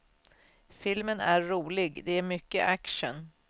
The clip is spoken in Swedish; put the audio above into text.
Filmen är rolig, det är mycket action.